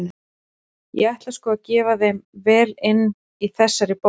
Ég ætla sko að gefa þeim vel inn í þessari bók!